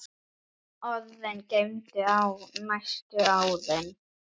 Orðin geymdi ég næstu árin.